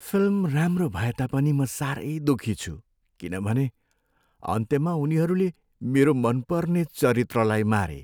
Film राम्रो भएता पनि म साह्रै दुःखी छु किनभने अन्त्यमा उनीहरूले मेरो मनपर्ने चरित्रलाई मारे।